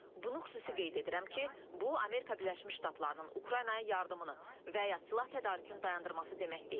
Bunu xüsusi qeyd edirəm ki, bu, Amerika Birləşmiş Ştatlarının Ukraynaya yardımını və ya silah tədarükünü dayandırması demək deyil.